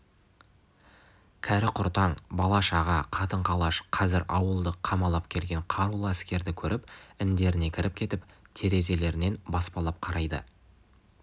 кәрі-құртаң бала-шаға қатын-қалаш қазір ауылды қамалап келген қарулы әскерді көріп індеріне кіріп кетіп терезелерінен баспалап қарайды